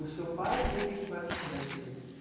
O seu pai, ele qual era a atividade dele?